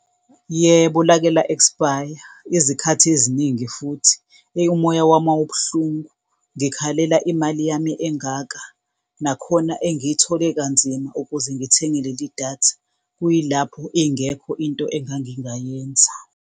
Yebo, lake la ekspaya izikhathi eziningi futhi, eyi umoya wami wawubuhlungu, ngizikhalela imali yami engaka, nakhona engiyithole kanzima ukuze ngithenge leli datha, kuyilapho ingekho into engangingayenza.